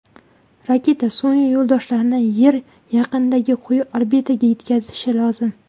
Raketa sun’iy yo‘ldoshlarni Yer yaqinidagi quyi orbitaga yetkazishi lozim.